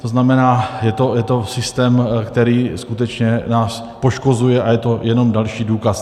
To znamená, je to systém, který skutečně nás poškozuje, a je to jenom další důkaz.